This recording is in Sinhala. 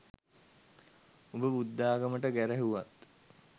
උඹ බුද්ධාගමට ගැරහුවත්